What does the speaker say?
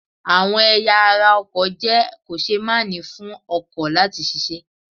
Àwọn ẹ̀ya ara ọkọ̀ jẹ́ kò-ṣe-máà-ní fún ọkọ̀ láti ṣiṣẹ́.